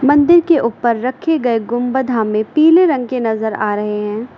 मंदिर के ऊपर रखे गए गुंबद हमें पीले रंग के नजर आ रहे हैं।